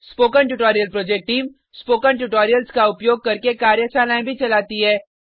spoken tutorial project team spoken tutorial का उपयोग करके कार्यशालाएँ भी चलाती है